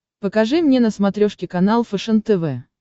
покажи мне на смотрешке канал фэшен тв